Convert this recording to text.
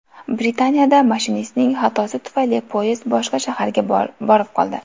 Britaniyada mashinistning xatosi tufayli poyezd boshqa shaharga borib qoldi.